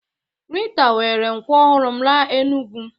Rita were nkwọ ọhụrụ m laa Enugwu